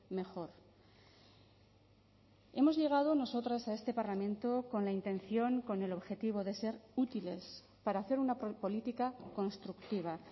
mejor hemos llegado nosotras a este parlamento con la intención con el objetivo de ser útiles para hacer una política constructiva